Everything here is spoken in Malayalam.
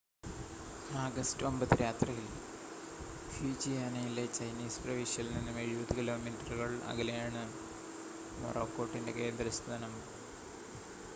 ആഗസ്റ്റ് 9 രാത്രിയിൽ ഫ്യൂജിയാനയിലെ ചൈനീസ് പ്രവിശ്യയിൽ നിന്നും എഴുപത് കിലോമീറ്ററുകൾ അകലെയാണ് മൊറാക്കോട്ടിൻ്റെ കേന്ദ്രസ്ഥാനം